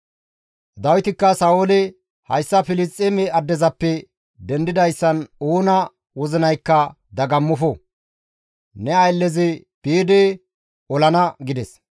Dawitikka Sa7oole, «Hayssa Filisxeeme addezappe dendidayssan oona wozinaykka dagammofo; ne ayllezi biidi olana» gides.